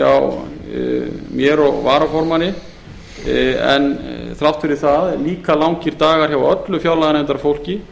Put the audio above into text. hjá mér og varaformanni en líka þrátt fyrir það öllu fjárlaganefndarfólki